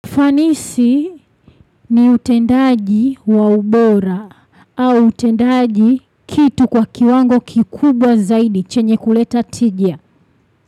Fanisi ni utendaji wa ubora au utendaji kitu kwa kiwango kikubwa zaidi chenye kuleta tija.